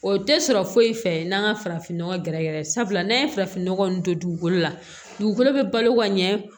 O tɛ sɔrɔ foyi fɛ n'an ka farafinnɔgɔ gɛrɛ gɛrɛ sabula n'an ye farafin nɔgɔ nin don dugukolo la dugukolo bɛ balo ka ɲɛ